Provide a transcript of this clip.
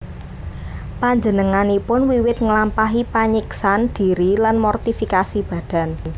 Panjenenganipun wiwit nglampahi panyiksan dhiri lan mortifikasi badan